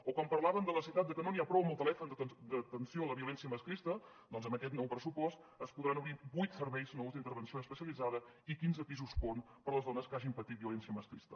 o quan parlaven de la necessitat que no n’hi ha prou amb el telèfon d’atenció a la violència masclista doncs amb aquest nou pressupost es podran obrir vuit serveis nous d’intervenció especialitzada i quinze pisos pont per a les dones que hagin patit violència masclista